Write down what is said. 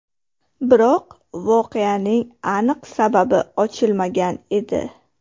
Biroq voqeaning aniq sababi ochilmagan edi.